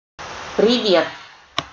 привет